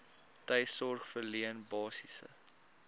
tuissorg verleen basiese